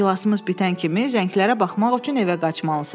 İclasımız bitən kimi zənglərə baxmaq üçün evə qaçmalısan.